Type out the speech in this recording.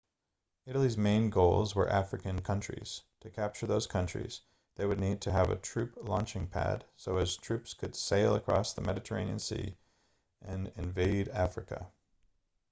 italy's main goals were african countries to capture those countries they would need to have a troop launching pad so as troops could sail across the mediterranean sea and invade africa